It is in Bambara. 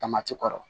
Tamati kɔrɔ